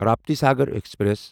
Raptisagar express